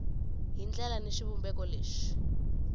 hi ndlela ni xivumbeko lexi